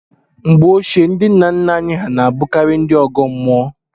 Mgbe ochie, ndị nna nna anyị na-abụkarị ndị ọgọ mmụọ.